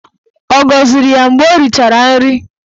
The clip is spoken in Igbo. Ọ gọziri ya mgbe ọ richara nri?